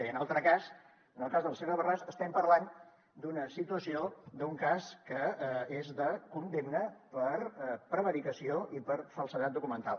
i en l’altre cas en el cas de la senyora borràs estem parlant d’una situació d’un cas que és de condemna per prevaricació i per falsedat documental